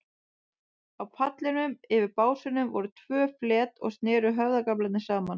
Á pallinum, yfir básunum, voru tvö flet og sneru höfðagaflar saman.